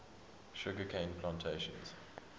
sugar cane plantations